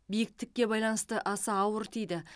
биіктікке байланысты аса ауыр тиді